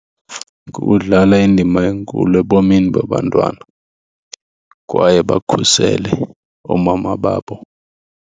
Kukudlala indima enkulu ebomini babantwana kwaye bakhusele oomama babo.